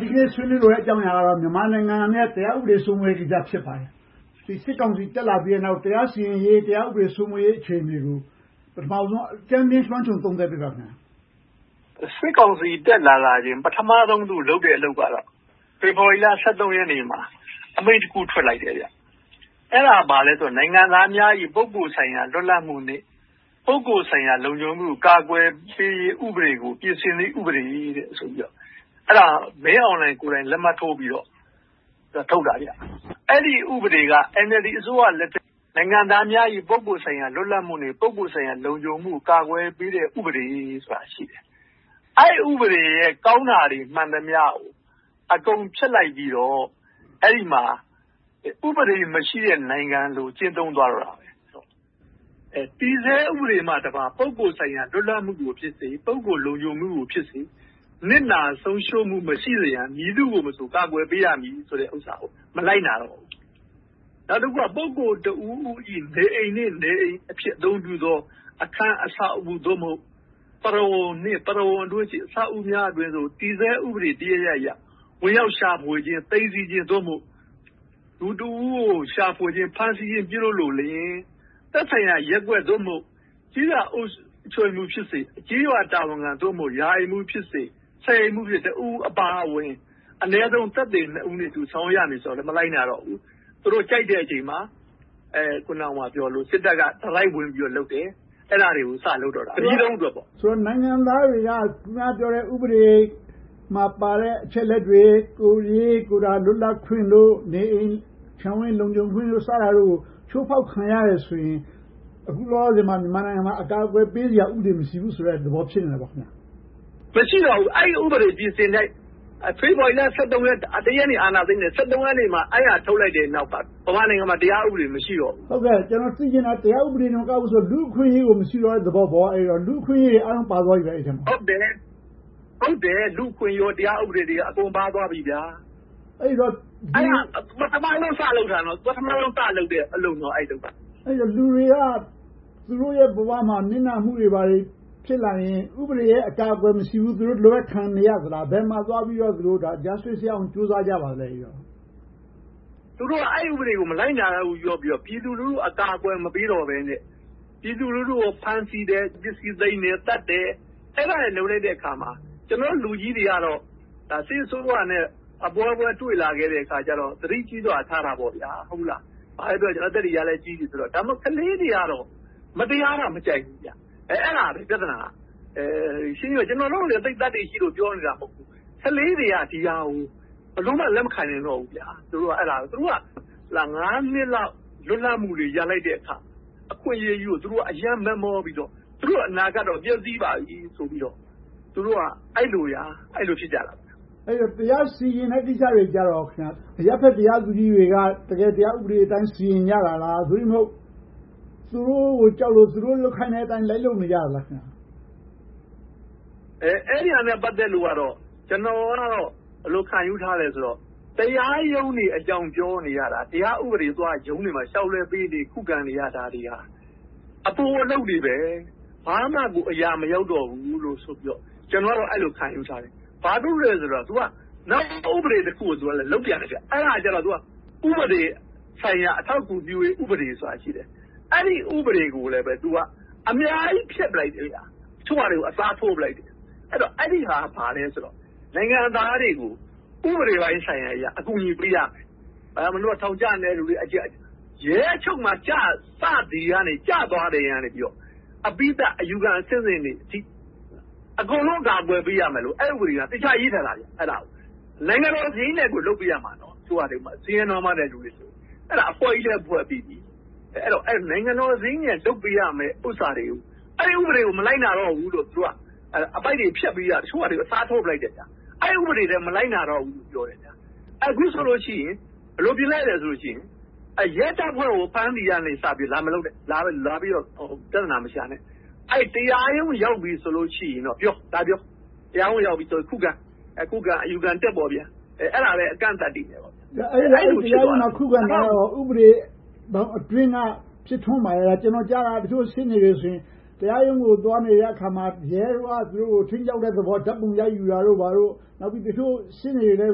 ဒီနေ့ဆွေးနွေးလိုတဲ့ အကြောင်းအရာကတော့ မြန်မာနိုင်ငံနဲ့ တရားဥပဒေစိုးမိုးရေး ဖြစ်ပါတယ်။ စစ်ကောင်စီ တက်လာပြီးနောက် တရားစီရင်ရေး၊ တရားဥပဒေစိုးမိုးရေး အခြေအနေကို ပထမဦးဆုံး လွှမ်းခြုံသုံးသပ်ပေးပါ။ စစ်ကောင်စီ တက်လာလာချင်း ပထမဦးဆုံးလုပ်တဲ့ အလုပ်ကတော့ ဖေဖေါ်ဝါရီလ ရက်နေ့မှာ အမိန့်တခုထွက်လိုက်တယ်။ အဲဒါက ဘာလဲဆိုတော့ ပုဂ္ဂိုလ်ဆိုင်ရာ လွတ်လပ်မှုနဲ့ ပုဂ္ဂိုလ်ဆိုင်ရာ လုံခြုံရေးတို့ကို ကာကွယ်ပေးရေး ဥပဒေကို ပြင်ဆင်သည့် ဥပဒေ ဖြစ်တယ်။ မင်းအောင်လှိုင်ကိုယ်တိုင် လက်မှတ်ထိုးပြီးတော့ ထုတ်တာ။ အဲဒီဥပဒေက NLD အစိုးရလက်ထက်မှာ နိုင်ငံသားများ၏ ပုဂ္ဂိုလ်ဆိုင်ရာ လွတ်လပ်မှုနဲ့ ပုဂ္ဂိုလ်ဆိုင်ရာ လုံခြုံမှုကို ကာကွယ်ပေးတဲ့ ဥပဒေဆိုတာ ရှိတယ်။ အဲဒီဥပဒေရဲ့ ကောင်းတာတွေ မှန်သမျှကို အကုန်ဖြတ်လိုက်ပြီးတော့ အဲဒီမှာ ဥပဒေမရှိတဲ့ နိုင်ငံကို ကျင့်သုံးသွားတော့တာပဲ။ တည်ဆဲဥပဒေမှတပါး ပုဂ္ဂိုလ်ဆိုင်ရာ လွတ်လပ်မှုကိုဖြစ်စေ၊ ပုဂ္ဂိုလ်ဆိုင်ရာ လုံခြုံမှုကိုဖြစ်စေ နစ်နာဆုံးရှုံးမှု မရှိစေရန် မည်သူကိုမဆို ကာကွယ်ပေးရမည် ဆိုတဲ့ဟာကို မလိုက်နာတော့ဘူး။ နောက်တခုက ပုဂ္ဂိုလ်တဦးဦး၏ နေအိမ်နဲ့ နေအိမ်အဖြစ် အသုံးပြုသော အခန်း၊ အဆောက်အဦး ပရဝုဏ်နှင့် ပရဝုဏ်အတွင်းရှိ အဆောက်အအုံများအတွင်းသို့ တည်ဆဲဥပဒေတရပ်ရပ်နဲ့ ဝင်ရောက်ရှာဖွေခြင်း၊ သိမ်းဆည်းခြင်း လူတဦးဦးကို ရှာဖွေခြင်း၊ ဖမ်းဆီးခြင်း ပြုလုပ်လိုလျှင် သက်ဆိုင်ရာရပ်ကွက် ကျေးရွာအုပ်ချုပ်ရေးမှူးဖြစ်စေ၊ ကျေးရွာတာဝန်ခံ ရာအိမ်မှူးဖြစ်စေ၊ ဆယ်အိမ်မှူး တဦးဦး ပါဝင်ပြီး၊ အနည်းဆုံး သက်သေနှစ်ဦးနဲ့အတူ ဆောင်ရွက်ရမည်ဆိုတာကိုလည်း မလိုက်နာတော့ဘူး။ သူတို့ကြိုက်တဲ့အချိန်မှာ အခုနပြောသလို စစ်တပ်က တိုက်ရိုက်ဝင်ပြီးတော့ လုပ်တယ်။ အဲဒါတွေကို စလုပ်တော့တယ်။ တပြည်လုံးမှာ။ ဆိုတော့ နိုင်ငံသားတွေက အခုနပြောတဲ့ ဥပဒေမှာပါတဲ့ အချက်အလက်တွေ ကိုယ်ရေကိုယ်တာ လွတ်လပ်ခွင့်တို့၊ နေအိမ်ခြံဝန်း လုံခြုံခွင့်တို့ စတာတို့ကို ချိုးဖောက်ခံရတယ်ဆိုရင် အခုလောလောဆယ်မှာ မြန်မာနိုင်ငံမှာ အကာအကွယ်ပေးစရာ ဥပဒေမရှိဘူးဆိုတဲ့ သဘောဖြစ်နေတာပေ့ါ။ မရှိတော့ဘူး။ အဲဒီဥပဒေ ပြင်ဆင်လိုက်တယ်။ ဖေဖေါ်ဝါရီလ ရက်နေ့ အာဏာသိမ်းတယ်၊ ရက်နေ့မှာ အဲဒါထုတ်လိုက်တဲ့နောက်မှာ မြန်မာနိုင်ငံမှာ တရားဥပဒေ မရှိတော့ဘူး။ ကျနော် သိချင်တာ တရားဥပဒေတင်မကဘူး၊ လူ့အခွင့်အရေးကိုတောင် မရှိတော့တဲ့ သဘောပေါ့။ အဲဒီထဲမှာ လူ့အခွင့်အရေးတွေအားလုံး ပါသွားပြီပေါ့။ ဟုတ်တယ်။ လူ့အခွင့်အရေးနဲ့ တရားဥပဒေရေးတွေအားလုံး ပါသွားပြီ။ အဲဒါ ပထမဦးဆုံး စလုပ်တာ။ အဲဒီအလုပ်က ပထမဦးဆုံး စလုပ်တဲ့အလုပ်။ အဲဒီတော့ လူတွေက သူတို့ရဲ့ဘဝမှာ နစ်နာမှုတွေ ဖြစ်လာရင် ဥပဒေရဲ့ အကာအကွယ်မရှိဘူး။ သူတို့ ဒီလိုပဲ ခံနေရသလား။ ဘယ်မှာသွားပြီးတော့ တရားမျှတမှု ရအောင် ကြိုးစားကြပါသလဲ။ သူတို့ အဲဒီဥပဒေကို မလိုက်နာတော့ဘူး ပြောပြီးတော့ ပြည်သူလူထုကို အကာအကွယ် မပေးတော့ဘဲနဲ့ ပြည်သူလူထုကို ဖမ်းဆီးတယ်၊ သတ်တယ်။ အဲဒါတွေလုပ်လိုက်တဲ့အခါမှာ ကျနော်တို့ လူကြီးတွေကတော့ စစ်အစိုးရနဲ့ အပွဲပွဲတွေ့လာရတော့ သတိကြီးစွာထားတာပေါ့။ ဘာပဲဖြစ်ဖြစ် အသက်တွေကလဲ ကြီးပြီဆိုတော့။ ဒါပေမဲ့ ကလေးတွေကတော့ မတရားတာ မကြိုက်ဘူး။ အဲဒါက ပြဿနာ။ ရှင်းရှင်းပြောရင် ကျနော်တို့က သိပ်သတ္တိရှိလို့ ပြောနေတာ မဟုတ်ဘူး။ ကလေးတွေက ဒီဟာကို ဘယ်လိုမှ လက်မခံနိုင်တော့ဘူး။ သူတို့က နှစ်လောက် လွတ်လပ်မှုတွေ ရလိုက်တဲ့ အခွင့်အရေးကြီးကို သူတို့က မက်မောပြီးတော့၊ သူတို့အနာဂတ်တော့ ပျက်ဆီးပါပြီဆိုပြီးတော့ သူတို့က အဲဒီလို ဖြစ်ကြတာ။ အဲဒီတော့ တရားစီရင်တဲ့ ကိစ္စတွေမှာ အရပ်ဘက်တရားသူကြီးတွေက တကယ်ဥပဒေအတိုင်း စီရင်ကြတာလား။ သို့တည်းမဟုတ် သူတို့ကိုကြောက်လို့ သူတို့လုပ်ခိုင်းတဲ့အတိုင်း လိုက်လုပ်နေကြတာလား။ အဲဒီဟာနဲ့ ပတ်သက်လို့ကတော့ ကျနော်တော့ ဘယ်လိုခံယူထားသလဲဆိုတော့ တရားရုံးတွေအကြောင်း ပြောနေရတာ တရားဥပဒေ ရုံးတွေမှာ လျှောက်လဲပေးနေရ၊ ခုခံနေရတာတွေက အပိုအလုပ်တွေပဲ။ ဘာမှအရာမရောက်တော့ဘူးလို့ ကျနော်ကတော့ အဲဒီလို ခံယူထားတယ်။ ဘာဖြစ်လို့လဲဆိုတော့ နောက်ဥပဒေတခုကို သူက လုပ်ပြန်တယ်။ အဲဒါက ဥပဒေဆိုင်ရာ အထောက်အကူပြုရေး ဥပဒေဆိုတာ ရှိတယ်။ အဲဒီဥပဒေကိုလဲ သူက အများကြီးဖျက်ပစ်လိုက်တယ်။ တချို့ဟာတွေကို အစားထိုးလိုက်တယ်။ အဲဒီဟာက ဘာလဲဆိုတော့ နိုင်ငံသားတွေကို ဥပဒေပိုင်းဆိုင်ရာအရ အကူအညီပေးရမယ်။ ရဲအချုပ်မှာ ကျသွားချိန်ကစပြီးတော့ အပြီသတ်အယူခံအဆင့်ဆင့်တွေကို အကုန်လုံး အကာအကွယ်ပေးရမယ်လို့ အဲဒီဥပဒေက သေချာရေးထားတာ။ အဲဒါကို နိုင်ငံတော်စရိတ်နဲ့ကို လုပ်ပေးရမှာ။ ဆင်းရဲနွှမ်းပါးတဲ့ လူတွေဆိုရင်။ အဲဒါကို အဖွဲ့ကြီးလည်း ဖွဲ့ပြီးပြီ။ နိုင်ငံတော်စရိတ်နဲ့ လုပ်ပေးရမယ့်ဟာတွေကို အဲဒီဥပဒေကို မလိုက်နာတော့ဘူးလို့ဆိုပြီး အပိုဒ်တွေဖြတ်ပြီးတော့ တချို့ဟာတွေကို အစားထိုးပြစ်လိုက်တယ်။ အဲဒီဥပဒေလဲ မလိုက်နာတော့ဘူး ပြောတယ်။ အခုဆိုလို့ရှိရင် ဘယ်လိုပြင်လိုက်သလဲဆိုရင် ရဲတပ်ဖွဲ့ကို ဖမ်းတာကစပြီး လာမပြောနဲ့၊ လာပြီးတော့ ပြဿနာမရှာနဲ့။ တရားရုံးရောက်ပြီဆိုရင်တော့ လာပြော၊ တရားဥပဒေနဲ့ ခုခံ၊ အယူခံတက်ပေါ့။ အဲဒီလို အကန့်အသတ်တွေ ဖြစ်လာတယ်။ ခုခံတာကတော့ ဥပဒေဘောင်အတွင်းက ဖြစ်ထွန်းပါရဲ့လား။ တချို့ ကျနော်ကြားတာက ရှေ့နေတွေဆိုရင် တရားရုံးကို သွားနေတဲ့အခါမှာ ရဲတွေက သူတို့တွေကို ခြိမ်းခြောက်တဲ့သဘော၊ ဓါတ်ပုံရိုက်ယူတာတို့ဘာတို့။ နောက်ပြီးတော့ တချို့ရှေ့နေတွေ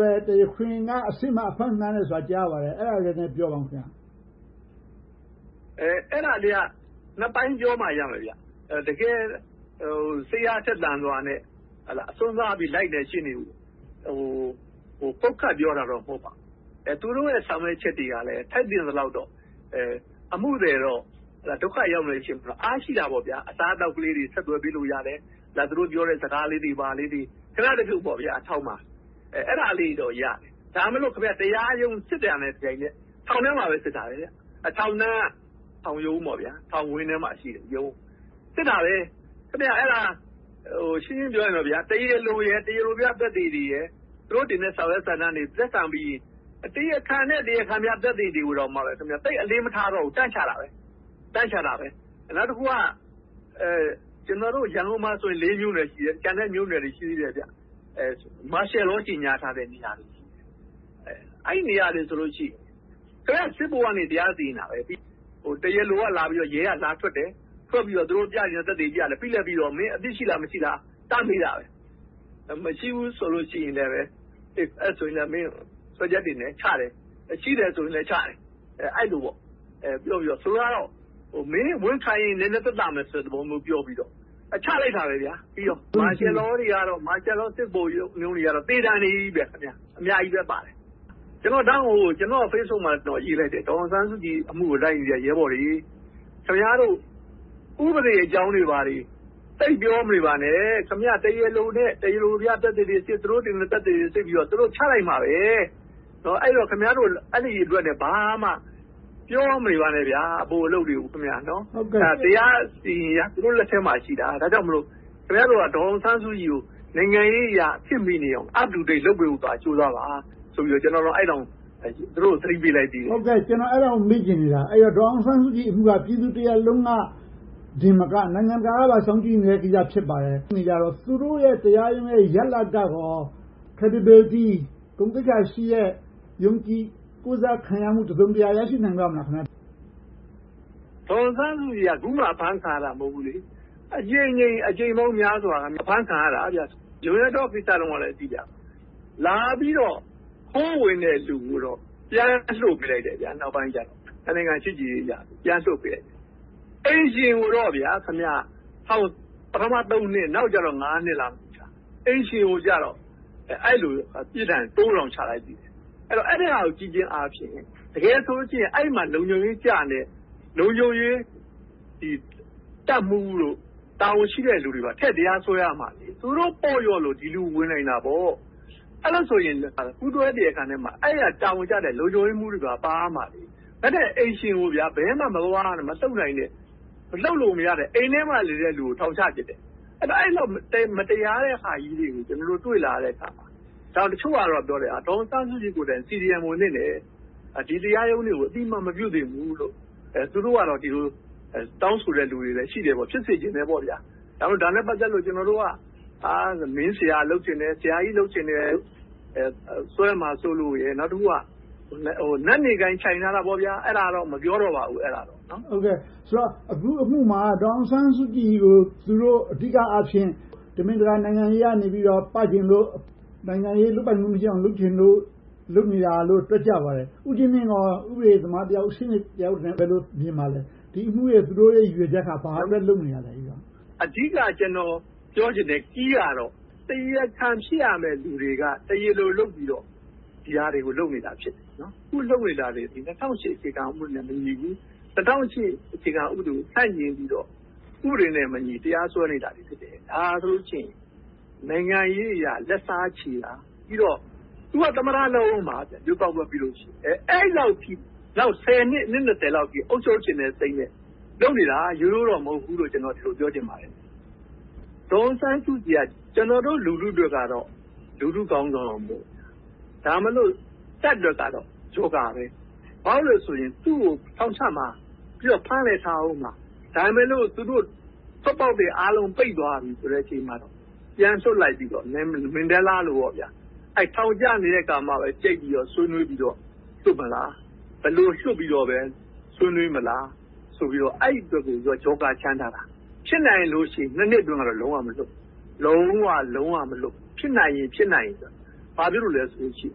လဲ တရားခွင်အတွင်း အဖမ်းခံရတယ်ဆိုတာတွေကို ကြားရပါတယ်။ အဲဒါတွေကိုလဲ ပြောပါအုံး။ အဲဒါတွေကိုတော့ နှစ်ပိုင်းပြောမှ ရမယ်။ တကယ်စိတ်အားထက်သန်စွာနဲ့ စွန့်စားပြီးတော့ လိုက်တဲ့ရှေ့နေတွေကို ပုပ်ခတ်ပြောတာတော့ မဟုတ်ပါဘူး။ သူတို့ရဲ့ ဆောင်ရွက်ချက်တွေကလဲ ထိုက်သင့်သလောက်တော့ အမှုသည် ဒုက္ခရောက်နေချိန်မှာတော့ အားရှိတာပေါ့။ အစားအသောက်လေးတွေ ဆက်သွယ်ပေးလို့ရတယ်။ သူတို့ပြောတဲ့ စကားလေးတွေ၊ ဘာလေးတွေ ခဏတဖြုတ် ထောင်မှာ အဲဒါလေးတွေတော့ ရတယ်။ ဒါပေမဲ့ တရားရုံးစစ်တာနဲ့ တပြိုင်တည်း ထောင်ထဲမှာပဲ စစ်တာ။ ထောင်နားက ထောင်ရုံးပေါ့။ ထောင်ဝန်းထဲမှာရှိတဲ့ ရုံး။ စစ်တာပဲ ရှင်းရှင်းပြောရင် တရားလိုရယ်၊ တရားလိုများ သက်သေတွေရယ်။ သူတို့တင်တဲ့ စာရွက်စာတမ်းတွေ လက်ခံပြီးရင် တရားခံနဲ့ တရားခံသက်သေတွေကို သိပ်အလေးမထားတော့ဘူး တန်းချတာပဲ။ နောက်တခုက ကျနော်တို့ ရန်ကုန်မှာဆိုရင် လေးမြို့နယ်ရှိတယ်။ ကျန်တဲ့မြို့နယ်တွေ ရှိတယ်။ မာရှယ်လော ကြေညာထားတဲ့ နေရာတွေ။ အဲဒီနေရာတွေမှာဆိုရင် စစ်ဗိုလ်က တရားစီရင်တာ။ တရားလို ရဲကလာပြီးတော့ ထွက်ဆိုတယ်။ သူတို့ပြချင်တဲ့ သက်သေပြပြီးတော့ တရားခံကို မင်းအပြစ်ရှိလား၊ မရှိလား တန်းမေးတာပဲ။ မရှိဘူးဆိုရင်လဲ ဆွဲချက်တင်တယ်၊ ချတယ်။ ရှိတယ်ဆိုရင်လဲ ချတယ်။ အဲဒီလိုပြောပြီးတော့ လုပ်တယ်။ ဆိုလိုတာက မင်းဝန်ခံရင် နည်းနည်းသက်သာမယ်ဆိုတဲ့ သဘောမျိုးပြောပြီးတော့ ချလိုက်တာပဲ။ မာရှယ်လောစစ်ဗိုလ်တွေ ချတဲ့စီရင်ချက်ကတော့ သေဒဏ်တွေကြီးပဲ။ အများကြီးပဲပါတယ်။ ဒါကြောင့် ကျနော့် Facebook မှာလဲ ရေးလိုက်တယ်။ ဒေါ်အောင်ဆန်းစုကြည် အမှုကို လိုက်နေတဲ့ ရဲဘော်တွေ - ခင်များတို့ ဥပဒေအကြောင်းတွေ သိပ်ပြောမနေပါနဲ့ တရားလိုနဲ့ တရားလိုများအဖြစ် သူတို့တင်မယ့်သက်သေတွေ စစ်ပြီးတော့ ချလိုက်မှာပဲ။ ခင်များတို့ အဲဒီအတွက် ဘာမှပြောမနေပါနဲ့။ အပိုအလုပ်တွေကို။ တရားစီရင်ရေးက သူတို့လက်ထဲမှာရှိတာ။ ဒါကြောင့်မို့ ခင်များတို့က ဒေါ်အောင်ဆန်းစုကြည်ကို နိုင်ငံရေးအရ ခေတ်မီနေအောင် up-to-date လုပ်ပေးဖို့သာ ကြိုးစားပါဆိုပြီး ကျနော် သူတို့ကို သတိပေးလိုက်တယ်။ ကျနော်က အဲဒါကို မေးချင်နေတာ။ ဒေါ်အောင်ဆန်းစုကြည်အမှုက ပြည်သူတရပ်လုံးကတင်မက နိုင်ငံတကာကပါ စောင့်ကြည့်နေတဲ့ကိစ္စ ဖြစ်ပါတယ်။ သူတို့ရဲ့ တရားရုံးရဲ့ ရလဒ်ကကော credibility ဂုဏ်သိက္ခာရှိတဲ့ ယုံကြည်ကိုးစားခံရမှု တစုံတရာ ရှိနိုင်ပါ့မလား။ ဒေါ်အောင်ဆန်းစုကြည်က အခုမှ အဖမ်းခံရတာ မဟုတ်ဘူးလေ။ အကြိမ်ကြိမ် အကြိမ်ပေါင်းများစွာ အဖမ်းခံရတာ။ John Yattaw ကိစ္စတုန်းကလဲကြည့် လာပြီးတော့ ခိုးဝင်တဲ့လူကိုတော့ နောက်ပိုင်းကြတော့ ပြန်လွှတ်ပေးလိုက်တယ်။ နှစ်နိုင်ငံ ချစ်ကြည်ရေးအရ ပြန်လွှတ်ပေးလိုက်တယ်။ အိမ်ရှင်ကိုတော့ ပထမထောင် နှစ်၊ နောက်ကျတော့ နှစ် ချလိုက်တယ်။ အိမ်ရှင်ကိုတော့ အဲဒီလိုပြစ်ဒဏ်တိုး ချလိုက်တယ်။ အဲဒါကို ကြည့်ခြင်းအားဖြင့် တကယ်ဆိုရင် အဲဒီမှာ လုံခြုံရေးကျနေတဲ့ လုံခြုံရေးတပ်မှူးနဲ့ တာဝန်ရှိတဲ့လူတွေကို ထည့်တရားစွဲရမှာလေ။ သူတို့ ပေါ့လျော့လို့ ဒီလိုဝင်နိုင်တာပေါ့။ အဲဒီလောက်ဆို ပူးတွဲတရားခံထဲမှာ တာဝန်ကျတဲ့ လုံခြုံရေးမှူးတွေပါ ပါရမှာလေ။ ဘယ်နဲ့ အိမ်ရှင်ကို ဘယ်မှမသွားနိုင်၊ မလှုပ်နိုင်တဲ့၊ လှုပ်လို့မရ အိမ်ထဲမှာနေတဲ့လူကို ထောင်ချပြစ်တယ်။ အဲဒီလောက် မတရားတဲ့ဟာကြီးတွေကို ကျနော်တို့ တွေ့လာရတဲ့အခါမှာ ဒါကိုတချို့ကပြောတယ် ဒေါ်အောင်ဆန်းစုကြည်ကိုယ်တိုင် CDM ဝင်သင့်တယ်။ ဒီတရားရုံးတွေကို အသိအမှတ် မပြုသင့်ဘူးလို့။ အဲဒီလို တောင်းဆိုတဲ့လူတွေလည်း ရှိတယ်။ ဖြစ်စေချင်တယ်ပေါ့။ ဒါနဲ့ ပတ်သက်လို့ ကျနော်တို့က မင်းဆရာလုပ်ချင်တယ်။ ဆရာကြီး လုပ်ချင်တယ် ပြောမှာစိုးလို့။ နောက်တခါ နတ်နေကိုင်း ထိုင်ထားတာပေါ့။ အဲဒါတော့ မပြောတော့ပါဘူး။ ဆိုတော့ အခုအမှုမှာ ဒေါ်အောင်ဆန်းစုကြည်ကို သူတို့ အဓိကအားဖြင့် တမင်တကာ နိုင်ငံရေးအရ ပချင်လို့ နိုင်ငံရေးလုပ်ပိုင်ခွင့်မရအောင် လုပ်ချင်လို့ လုပ်နေတာလို့ တွက်ကြပါတယ်။ ဦးကြီးမြင့်ကော ဥပဒေသမားတယောက်၊ ရှေ့နေတယောက်အနေနဲ့ ဘယ်လိုမြင်ပါသလဲ။ ဒီအမှုတွေအတွက် သူတို့ရဲ့ အဓိက ရည်ရွယ်ချက်က ဘာအတွက် လုပ်နေတာလဲ။ အဓိက ကျနော်ပြောချင်တဲ့ Key ကတော့ တရားခံ ဖြစ်ရမယ့်လူတွေက တရားလိုလုပ်ပြီးတော့ ဒီဟာတွေကို လုပ်နေတာ ဖြစ်တယ်။ အခုလုပ်နေတာတွေက ၂၀၀၈ အခြေခံဥပဒေနဲ့ မညီဘူး။ ၂၀၀၈ အခြေခံဥပဒေကို ဆန့်ကျင်ပြီးတော့ ဥပဒေနဲ့မညီ တရားစွဲနေတာတွေ ဖြစ်တယ်။ ဒါဟာဆိုလို့ရှိရင် နိုင်ငံရေးအရ လက်စားချေတာ၊ ပြီးတော့ သူက သမ္မတ လုပ်အုံးမှာ။ ရွေးကောက်ပွဲပြီရင်။ အဲဒီလောက်ထိ နောက်ဆယ်နှစ်၊ အနှစ် လောက်အထိ အုပ်ချုပ်ချင်တဲ့စိတ်နဲ့ လုပ်နေတာ။ ရိုးရိုးတော့ မဟုတ်ဘူးလို့ ကျနော် ပြောချင်ပါတယ်။ ဒေါ်အောင်ဆန်းစုကြည်က ကျနော်တို့ လူထုအတွက်တော့ လူထုခေါင်းဆောင်။ ဒါပေမဲ့ တပ်အတွက်ကတော့ Joker ပဲ။ သူကို ထောင်ချမှာ၊ ဖမ်းလည်းထားအုံးမှာ။ ဒါပေမဲ့လို့ သူတို့ ထွက်ပေါက်တွေအားလုံး ပိတ်သွားပြီဆိုတဲ့ အချိန်မှာတော့ ပြန်လွှတ်လိုက်ပြီးတော့ မန်ဒဲလ်လာလိုပေါ့ ထောင်ကျနေတဲ့အခါမှာပဲ ကြိတ်ပြီးတော့ ဆွေးနွေးပြီးတော့ လွှတ်မလား။ ဘယ်လိုလွှတ်ပြီးတော့မှ ဆွေးနွေးမလားဆိုပြီးတော့ အဲဒီအတွက်ကို Joker ချန်ထားတာ။ ဖြစ်နိုင်လို့ရှိရင် နှစ်အတွင်းတော့ လုံးဝမလွှတ်ဘူး။ လုံးဝလုံးဝ မလွှတ်ဘူး။ ဖြစ်နိုင်ရင်ဆိုရင်။ ဘာဖြစ်လို့လဲဆိုရင်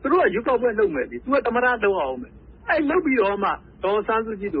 သူတို့က ရွေးကောက်ပွဲလုပ်မယ်။ သူက သမ္မတ လုပ်ရအုံးမယ်။ အဲဒီလိုလုပ်ပြီးမှ ဒေါ်အောင်ဆန်းစုကြည်တို့